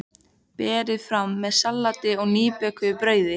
Berið fram með salati og nýbökuðu brauði.